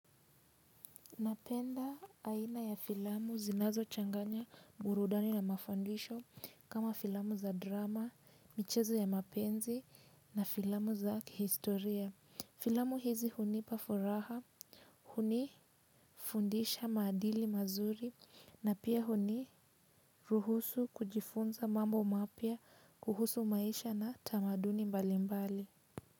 Napenda aina ya filamu zinazo changanya burudani na mafandisho kama filamu za drama, michezo ya mapenzi na filamu za kihistoria. Filamu hizi huni pafuraha, huni fundisha madili mazuri na pia huni ruhusu kujifunza mambo mapia kuhusu maisha na tamaduni mbali mbali.